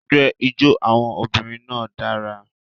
Ẹgbẹ́ ijó àwọn obìnrin náà dára.